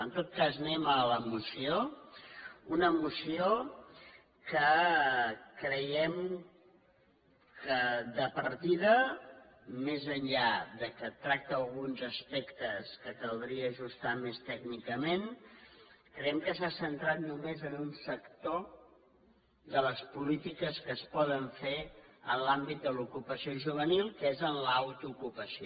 en tot cas anem a la moció una moció que creiem que de partida més enllà que tracta alguns aspectes que caldria ajustar més tècnicament s’ha centrat només en un sector de les polítiques que es poden fer en l’àmbit de l’ocupació juvenil que és en l’autoocupació